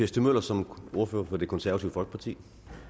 stig møller som ordfører for det konservative folkeparti